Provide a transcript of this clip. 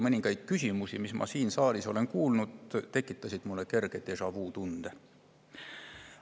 Mõningad küsimused, mida ma siin saalis täna kuulsin, tekitasid minus kerge déjà‑vu tunde.